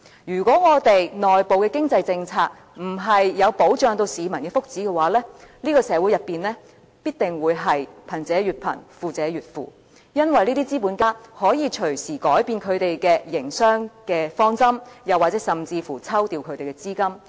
如果我們內部的經濟政策沒有保障市民的福祉，這個社會必定會貧者越貧，富者越富，因為這些資本家可以隨時改變他們的營商方針，甚至抽調其資金。